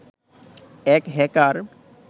এক হ্যাকার